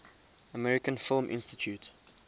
american film institute